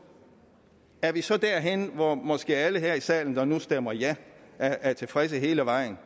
er vi så derhenne hvor måske alle her i salen der nu stemmer ja er er tilfredse hele vejen